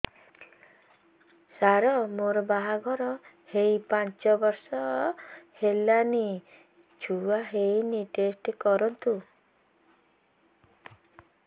ସାର ମୋର ବାହାଘର ହେଇ ପାଞ୍ଚ ବର୍ଷ ହେଲାନି ଛୁଆ ହେଇନି ଟେଷ୍ଟ କରନ୍ତୁ